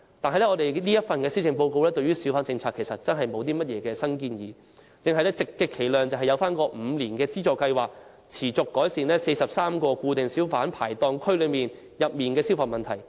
這份施政報告對小販政策實際上沒有提出甚麼新建議，而只是推行為期5年的資助計劃，以及改善43個固定小販排檔區的消防問題。